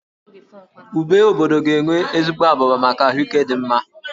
Úbè obobdo ga-enwe ezigbo abụba maka ahụike dị mma